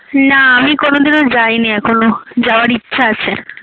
না আমি কোনোদিনও যায়নি এখনো যাওয়ার ইচ্ছা আছে